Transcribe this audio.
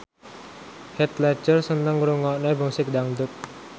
Heath Ledger seneng ngrungokne musik dangdut